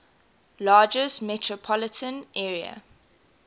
largest metropolitan area